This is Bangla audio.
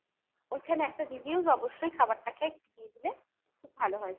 ওইখানে একটা reviews অবশ্যই খাবারটা খেয়ে একটু দিয়ে দিলে খুব ভালো হয় sir।